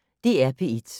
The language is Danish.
DR P1